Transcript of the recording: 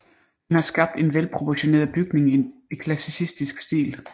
Han har skabt en velproportioneret bygning i klassicistisk stil